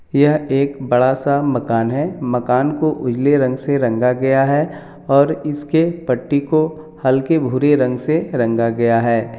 यह एक बड़ा सा मकान हैं मकान को उजले रंग से रंगा गया हैं और इसके पट्टी को हल्के भूरे रंग से रंगा गया हैं ।